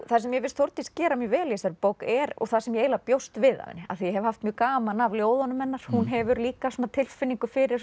það sem mér finnst Þórdís gera mjög vel í þessari bók er og það sem ég eiginlega bjóst við af henni af því ég hef haft mjög gaman af ljóðunum hennar hún hefur líka svona tilfinningu fyrir